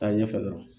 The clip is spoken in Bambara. Taa ɲɛfɛ dɔrɔn